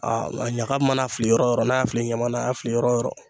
Aa a ɲaga mana fili yɔrɔ yɔrɔ n'a y'a fili ɲaman na a y'a fili yɔrɔ yɔrɔ